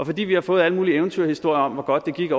fordi vi har fået alle mulige eventyrhistorier om hvor godt det gik